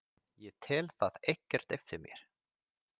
Ég tel það ekkert eftir mér.